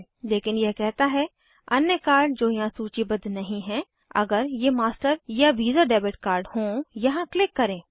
लेकिन यह कहता है अन्य कार्ड जो यहाँ सूचीबद्ध नहीं हैं अगर यह मास्टर या वीसा डेबिट कार्ड हों यहाँ क्लिक करें